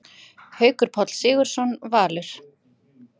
Haukur Páll Sigurðsson, Valur